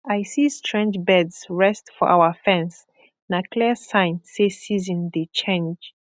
i see strange birds rest for our fence na clear sign say season dey change